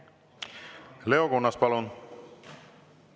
Leo Kunnas, palun!